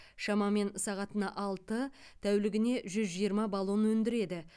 шамамен сағатына алты тәулігіне жүз жиырма баллон өндіреді